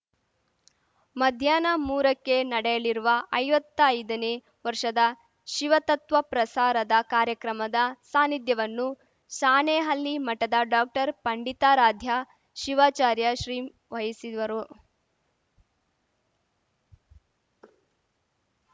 ಮಧ್ಯಾಹ್ನ ಮೂರಕ್ಕೆ ನಡೆಯಲಿರುವ ಐವತ್ತೈದನೇ ವರ್ಷದ ಶಿವತತ್ವ ಪ್ರಸಾರದ ಕಾರ್ಯಕ್ರಮದ ಸಾನಿಧ್ಯವನ್ನು ಸಾಣೇಹಲ್ಲಿ ಮಠದ ಡಾಕ್ಟರ್ಪಂಡಿತಾರಾಧ್ಯ ಶಿವಾಚಾರ್ಯ ಶ್ರೀ ವಹಿಸುವರು